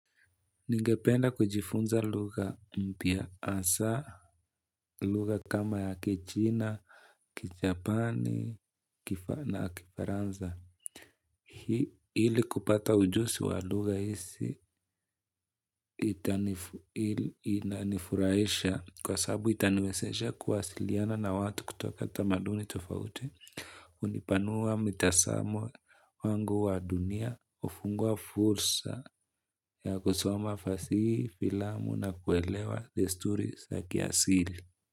Ningependa kujifunza lugha mpya hasa, lugha kama ya kichina, kijapani, na kifaranza. Ili kupata ujuzi wa lugha isi, inanifurahisha kwa sababu itaniwezeshaa kuwasiliana na watu kutoka tamaduni tofauti. Hunipanua mitazamo wangu wa dunia ufungua fursa ya kusamo fasihi filamu na kuelewa desturi za kiasili.